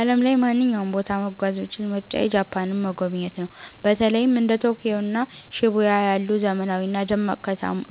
በዓለም ላይ ማንኛውንም ቦታ መጓዝ ብችል ምርጫዬ ጃፓንን መጎብኘት ነው። በተለይም እንደ ቶኪዮ እና ሺቡያ ያሉ ዘመናዊና ደማቅ